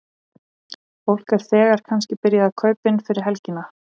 Fólk er þegar kannski byrjað að kaupa inn fyrir helgina?